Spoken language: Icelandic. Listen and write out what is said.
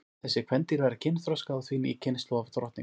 þessi kvendýr verða kynþroska og því ný kynslóð af drottningum